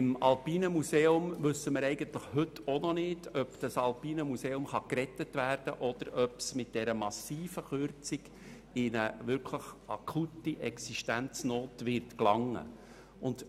Beim Alpinen Museum wissen wir heute eigentlich auch noch nicht, ob es gerettet werden kann oder ob es mit dieser massiven Kürzung wirklich in eine akute Finanznot geraten wird.